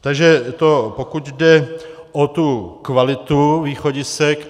Takže to pokud jde o tu kvalitu východisek.